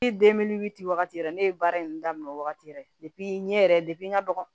wagati yɛrɛ ne ye baara in daminɛ o wagati yɛrɛ de n ɲe yɛrɛ n ka dɔgɔn